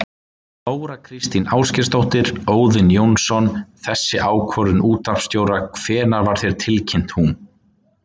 Þóra Kristín Ásgeirsdóttir: Óðinn Jónsson, þessi ákvörðun útvarpsstjóra, hvenær var þér tilkynnt hún?